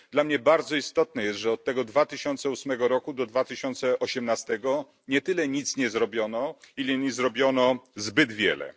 Dla mnie bardzo istotne jest, że od tego 2008 roku do 2018 nie tyle nic nie zrobiono, ile nie zrobiono zbyt wiele.